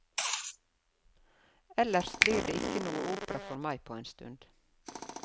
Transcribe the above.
Ellers blir det ikke noe opera for meg på en stund.